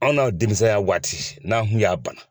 Anw na denmisɛnya waati n'an kun y'a bana.